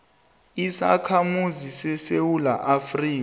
isakhamuzi sesewula afrika